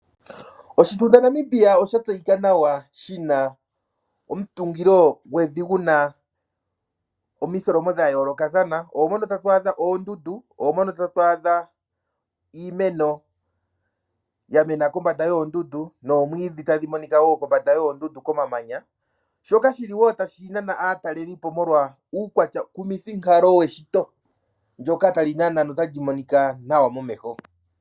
Oshitunda Namibia osha tseyika nawa shina omutungilo gwevi guna omitholomo dha yoolokathana, oomono tatu adha oondundu, oomono tatu adha iimeno ya mena kombanda yoondundu, noomwidhi tadhi monika wo kombanda yoondundu komamanya, shoka shili wo tashi nana aatalelipo molwa uukwatyakumithinkalo weshito, ndyoka tali nana notali monika nawa momeho.